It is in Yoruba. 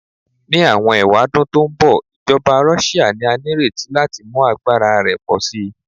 Ni awọn ewadun to nbọ, ijọba Russia ni a nireti lati mu agbara rẹ pọ si